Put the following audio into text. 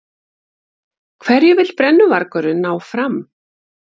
Hverju vill brennuvargurinn ná fram?